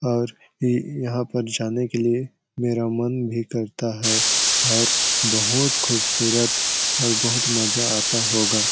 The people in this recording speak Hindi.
और इ-इ यहाँ पर जाने के लिए मेरा मन भी करता है और बहुत खूबसूरत और बहुत मजा आता होगा।